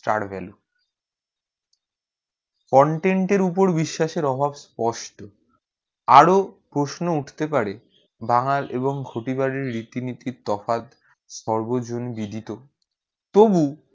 star value content উপর বিশ্বাসের অভাব স্পষ্ট আরও প্রশ্ন উঠতে পারে বাংল এবং ঘটি করে রীতি নীতি তফাৎ স্বর্বজন বিধিত তবুও